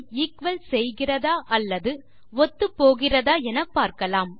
equal செய்கிறதா அல்லது ஒத்துப்போகிறதா என பார்க்கலாம்